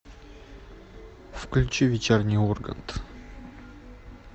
включи вечерний ургант